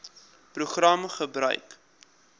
program gebruik